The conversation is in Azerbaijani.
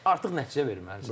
Artıq nəticə verməlisən.